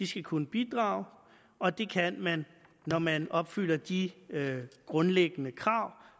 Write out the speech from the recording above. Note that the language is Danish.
skal kunne bidrage og det kan man når man opfylder de grundlæggende krav